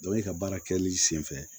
i ka baara kɛli senfɛ